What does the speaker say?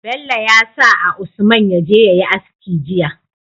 Bello yasa a usman yaje yayi aski jiya